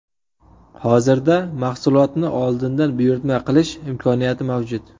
Hozirda mahsulotni oldindan buyurtma qilish imkoniyati mavjud.